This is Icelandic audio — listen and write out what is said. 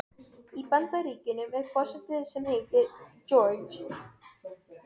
Í Bandaríkjunum er forseti sem heitir Georg.